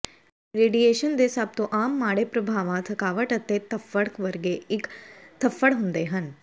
radiation ਦੇ ਸਭ ਤੋਂ ਆਮ ਮਾੜੇ ਪ੍ਰਭਾਵਾਂ ਥਕਾਵਟ ਅਤੇ ਧੱਫੜ ਵਰਗੇ ਇੱਕ ਧੱਫੜ ਹੁੰਦੇ ਹਨ